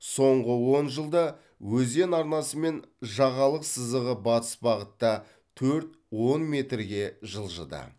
соңғы он жылда өзен арнасы мен жағалық сызығы батыс бағытта төрт он метрге жылжыды